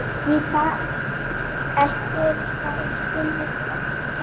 Gíta, ekki fórstu með þeim?